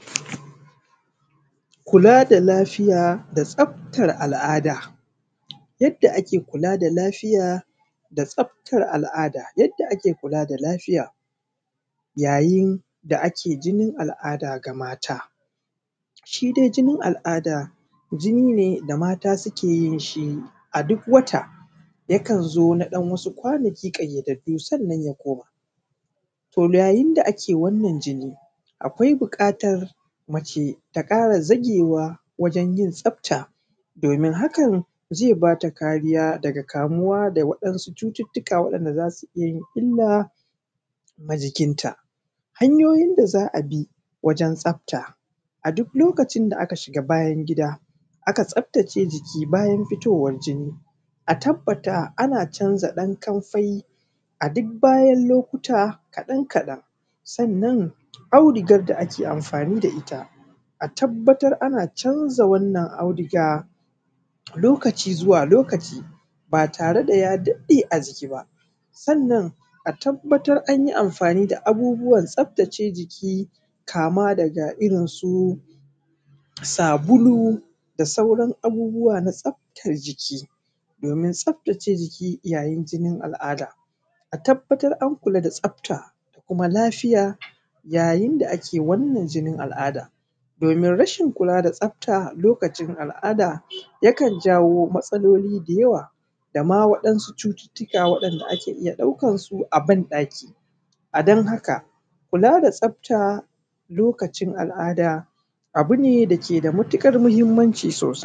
Kula da lafiya da tsaftar al'ada. Yadda ake kula da lafiya da tsaftar al'ada. Yadda ake kula da lafiya yayin da ake jinin al'ada ga mata. Shi dai jinin al'ada, jini ne da mata suke yin shi a duk wata, yakan zo na ɗan wasu kwanaki ƙayyadaddu sannan ya koma. Yayin da ake wannan jini, akwai buƙatar mace ta ƙara zagewa wajan yin tsafta domin hakan zai bata kariya daga kamuwa da wasu cuttutuka waɗanda za su iya yin illa ma jikin ta. Hanyoyin da za a bi wajen tsafta. A duk lokacin da aka shiga don bayan gida aka tsaftace jiki bayan fitowan jini, a tabbata ana canza ɗan kanfai a duk bayan lokuta kaɗan kaɗan, sannan auduganr da ake amfani da ita, a tabbatar ana canza wannan auduga lokaci zuwa lokaci, ba tare da ya daɗe a jiki ba, sannan a tabbatar an yi amfani da abubuwan tsaftace jiki kama daga irin su sabulu da sauran abubuwa na tsaftace jiki, domin tsaftace jiki yayin jinin al'ada. A tabbatar an kula da tsafta da kuma lafiya yayin da ake wannan jinin al’adan. Domin rashin kula da tsafta lokacin al'ada yakan jawo matsaloli da yawa dama waɗansu cututuka da ake iya ɗaukan su a ban ɗaki. A don haka kula da tsatfa lokacin al'ada abu ne dake da matuƙar muhimmanci sosai.